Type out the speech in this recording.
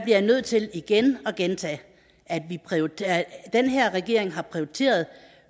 jeg nødt til igen at gentage at den her regering har prioriteret